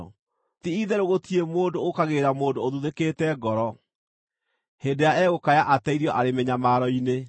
“Ti-itherũ gũtirĩ mũndũ ũũkagĩrĩra mũndũ ũthuthĩkĩte ngoro, hĩndĩ ĩrĩa egũkaya ateithio arĩ mĩnyamaro-inĩ.